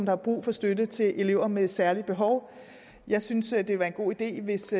har brug for støtte til elever med særlige behov jeg synes at det ville være en god idé hvis